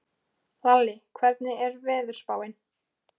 Lalli, hvernig er veðurspáin?